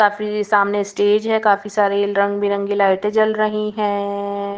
काफी सामने स्टेज है काफी सारी रंगबिरंगी लाइटें जल रही हैं ।